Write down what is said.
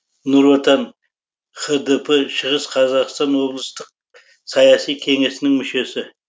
нұр отан хдп шығыс қазақстан облыстық саяси кеңесінің мүшесі